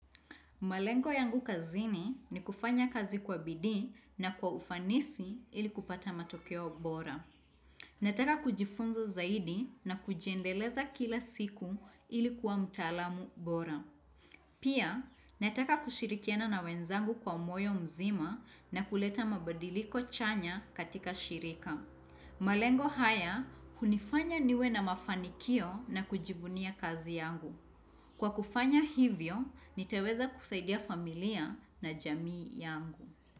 Malengo yangu kazini ni kufanya kazi kwa bidii na kwa ufanisi ili kupata matokeo bora. Nataka kujifunza zaidi na kujiendeleza kila siku ili kuwa mtaalamu bora. Pia, nataka kushirikiana na wenzangu kwa moyo mzima na kuleta mabadiliko chanya katika shirika. Malengo haya, hunifanya niwe na mafanikio na kujivunia kazi yangu. Kwa kufanya hivyo, nitaweza kusaidia familia na jamii yangu.